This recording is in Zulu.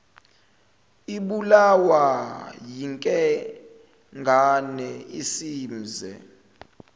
ibulawa yinkengane isimze